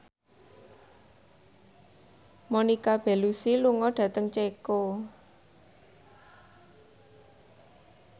Monica Belluci lunga dhateng Ceko